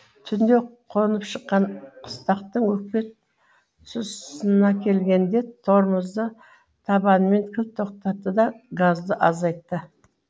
түнде қонып шыққан қыстақтың өкпе тұсынакелгенде тормозды табанымен кілт тоқтатты да газды азайтты